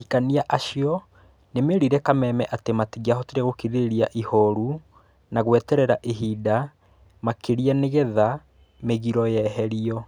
Ahikanĩa acio nĩmerire Kameme atĩ matingiahotire gũkirĩrĩria ihoru na gweterera ihinda makĩria nĩgetha mĩgiro yeherio.